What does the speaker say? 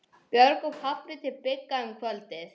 Björg og pabbi til Bigga um kvöldið.